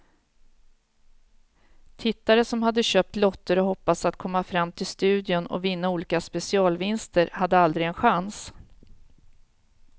Tittare som hade köpt lotter och hoppats att komma fram till studion och vinna olika specialvinster hade aldrig en chans.